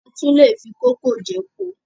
A tún lè fi kó kókò jẹ epo